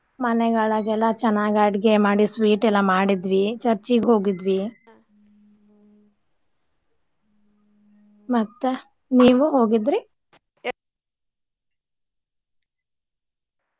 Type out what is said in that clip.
ಮನೆಯೊಳಗೆಲ್ಲಾ ಚೆನ್ನಾಗಿ ಅಡುಗೆ ಮಾಡಿ sweet ಎಲ್ಲ ಮಾಡಿದ್ವಿ church ಗ ಹೋಗಿದ್ವಿ ಮತ್ತ ನೀವು ಹೋಗಿದ್ರಿ?